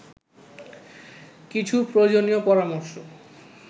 কিছু প্রয়োজনীয় পরামর্শ